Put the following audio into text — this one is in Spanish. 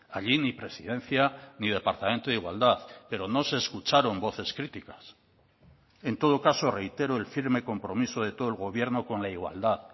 allí ni presidencia ni departamento de igualdad pero no se escucharon voces críticas en todo caso reitero el firme compromiso de todo el gobierno con la igualdad